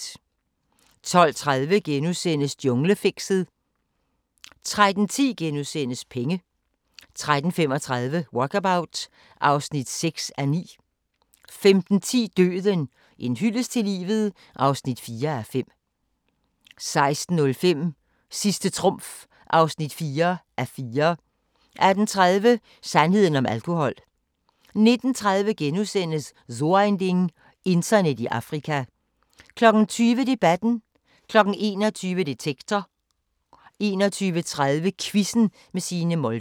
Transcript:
12:30: Junglefixet * 13:10: Penge * 13:35: Walkabout (6:9) 15:10: Døden – en hyldest til livet (4:5) 16:05: Sidste trumf (4:4) 18:30: Sandheden om alkohol 19:30: So ein Ding: Internet i Afrika * 20:00: Debatten 21:00: Detektor 21:30: Quizzen med Signe Molde